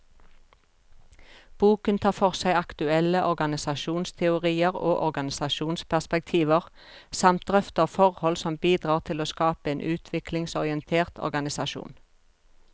Boken tar for seg aktuelle organisasjonsteorier og organisasjonsperspektiver, samt drøfter forhold som bidrar til å skape en utviklingsorientert organisasjon.